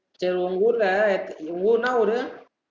சேரி உங்க ஊர்ல, உங்க ஊரு என்னா ஊரு